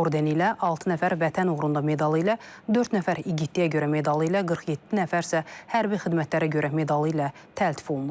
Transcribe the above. ordeni ilə, altı nəfər Vətən uğrunda medalı ilə, dörd nəfər igidliyə görə medalı ilə, 47 nəfər isə hərbi xidmətlərə görə medalı ilə təltif olunub.